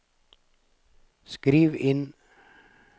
skriv inn